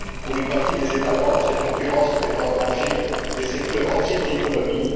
Pour une partie des États membres, cette concurrence met en danger des secteurs entiers de l'économie